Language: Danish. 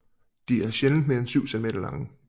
De er sjældent mere en 7 centimeter lange